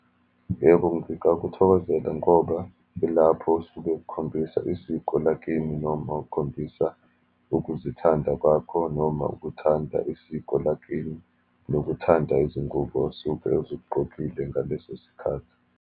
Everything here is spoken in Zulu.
Yebo, ngingakuthokozela ngoba yilapho osuke khombisa isiko lakini, noma ukhombisa ukuzithanda kwakho, noma ukuthanda isiko lakini, nokuthanda izingubo osuke uzigqokile ngaleso sikhathi.